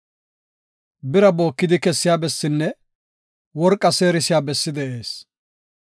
“Bira bookidi kessiya bessinne worqaa seerisiya bessi de7ees.